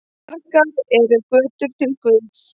Margar eru götur til guðs.